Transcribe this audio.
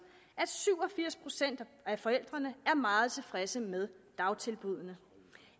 at syv og firs procent af forældrene er meget tilfredse med dagtilbuddene